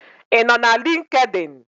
Ị nọ na LinkedIn?